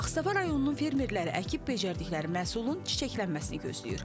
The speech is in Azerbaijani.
Ağstafa rayonunun fermerləri əkib becərdikləri məhsulun çiçəklənməsini gözləyir.